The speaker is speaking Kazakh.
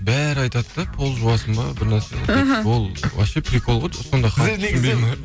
бәрі айтады да пол жуасың ба бір нәрсе деп іхі ол вообще прикол ғой сонда халық түсінбейді ме